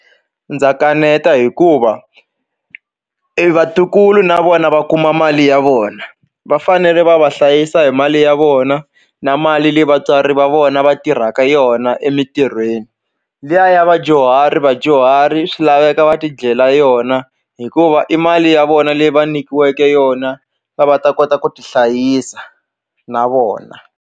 Ndza kaneta hikuva e vatukulu na vona va kuma mali ya vona va fanele va va hlayisa hi mali ya vona na mali leyi vatswari va vona va tirhaka yona emintirhweni liya ya vadyuhari vadyuhari swi laveka va ti dlela yona hikuva i mali ya vona leyi va nyikiweke yona va va ta kota ku ti hlayisa na vona.